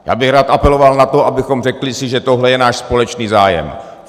Já bych rád apeloval na to, abychom si řekli, že tohle je náš společný zájem.